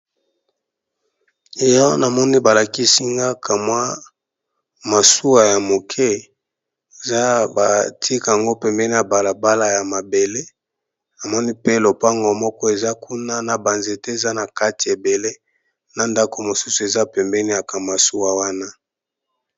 Awa na moni ba lakisi nga ka mwa masuwa ya moke eza ba tiki yango pembeni ya balabala ya mabele, na moni pe lopango moko eza kuna na ba nzete eza na kati ebele na ndako mosusu eza pembeni ya ka masuwa wana .